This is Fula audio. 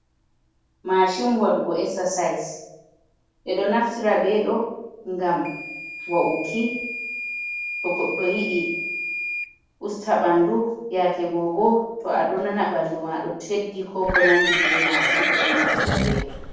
Mashin waɗugo exercise. Ɓeɗo naftira ɓeɗo ngam wa’uki to goɗɗo yiɗi usta ɓandu. Yake go bo to aɗo nana ɓandu ma ɗo teddi ko ko nandi be majum ɓeɗo naftira ɓeɗo.